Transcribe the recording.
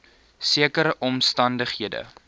sekere omstan dighede